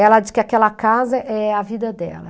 Ela diz que aquela casa é a vida dela.